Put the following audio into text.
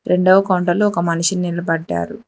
రెండవ కౌంటర్లో ఒక మనిషిని నిలబడ్డాడు.